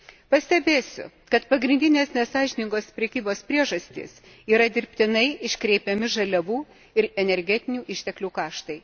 Pastebėsiu, kad pagrindinės nesąžiningos prekybos priežastys yra dirbtinai iškreipiami žaliavų ir energetinių išteklių kaštai.